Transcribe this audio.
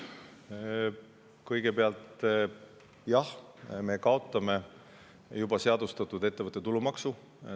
Kõigepealt jah, me kaotame ettevõtte tulumaksu, mis on juba seadustatud.